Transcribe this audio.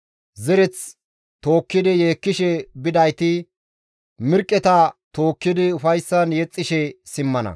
Zereth tookkidi yeekkishe bidayti mirqqeta tookkidi ufayssan yexxishe simmana.